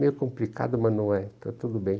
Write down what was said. Meio complicado, mas não é. Está tudo bem.